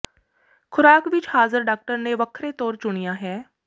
ਖੁਰਾਕ ਵਿਚ ਹਾਜ਼ਰ ਡਾਕਟਰ ਨੇ ਵੱਖਰੇ ਤੌਰ ਚੁਣਿਆ ਹੈ